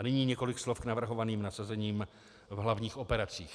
A nyní několik slov k navrhovaným nasazením v hlavních operacích.